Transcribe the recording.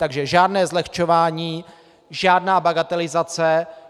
Takže žádné zlehčování, žádná bagatelizace.